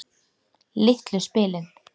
Litlu spilin.